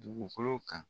Dugukolo kan